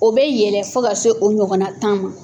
O bɛ yɛlɛ fo ka se o ɲɔgɔnna tan ma.